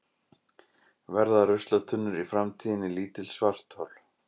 Verða ruslatunnur í framtíðinni lítil svarthol?